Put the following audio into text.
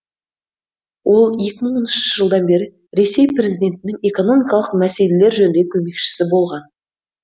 ол екі мың он үшінші жылдан бері ресей президентінің экономикалық мәселелер жөніндегі көмекшісі болған